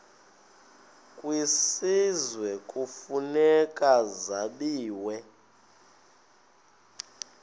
kwisizwe kufuneka zabiwe